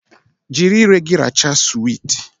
Jiri ire gị rachaa suweet